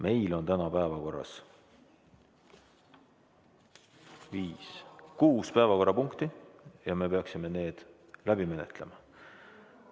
Meil on täna päevakorras kuus päevakorrapunkti ja me peaksime need läbi menetlema.